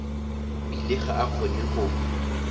bile ga a kgone go